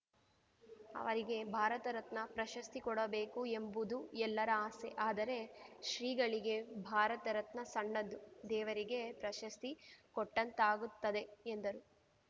ಅವರಿಗೆ ಭಾರತರತ್ನ ಪಶಸ್ತಿ ಕೊಡಬೇಕು ಎಂಬುದು ಎಲ್ಲರ ಆಸೆ ಆದರೆ ಶ್ರೀಗಳಿಗೆ ಭಾರತರತ್ನ ಸಣ್ಣದು ದೇವರಿಗೆ ಪ್ರಶಸ್ತಿ ಕೊಟ್ಟಂತಾಗುತ್ತದೆ ಎಂದರು